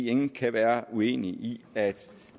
ingen kan være uenig i at